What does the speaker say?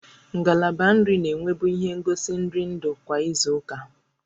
Ngalaba nri na-enwebu ihe ngosi nri nri ndụ kwa izu ụka